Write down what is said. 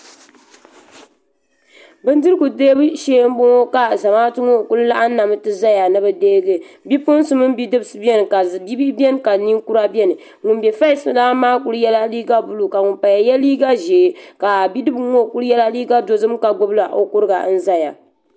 Bindirigu deebu shee m boŋɔ ka Zamaatu ŋɔ kuli laɣim n ti zaya ni bɛ deegi bipuɣinsi mini bidibsi biɛni bihi biɛni ka ninkura biɛni ŋun be fesi lan maa kuli yela liiga buluu ka ŋun paya ye liiga ʒee ka bidibga ŋɔ kuli yela liiga dozim ka gbibila o kuruga n zaya.